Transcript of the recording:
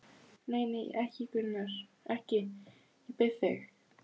Nei, nei, ekki, ekki, Gunnar, ég bið þig.